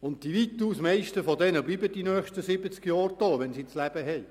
Und weitaus die Meisten von ihnen bleiben während den nächsten siebzig Jahren hier.